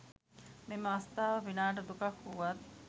මෙම අවස්ථාව පිනාට දුකක් වුවත්